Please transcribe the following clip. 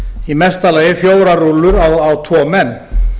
í mesta lagi fjórar rúllur á tvo menn